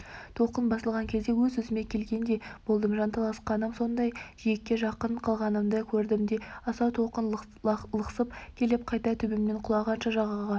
толқын басылған кезде өз-өзіме келгендей болдым жанталасқаным сондай жиекке жақын қалғанымды көрдім де асау толқын лықсып келіп қайта төбемнен құлағанша жағаға